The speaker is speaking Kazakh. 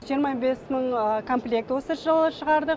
жиырма бес мың комплект осы жылы шығарадық